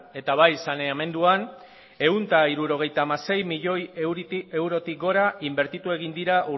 eta bai saneamenduan ehun eta hirurogeita hamasei miloi eurotik gora inbertitu egin dira